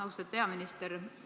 Austatud peaminister!